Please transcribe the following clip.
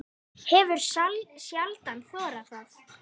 Hefur sjaldan þorað það.